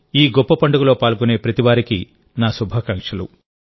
ఈ గొప్ప పండుగలో పాల్గొనే ప్రతి విశ్వాసికి నా శుభాకాంక్షలు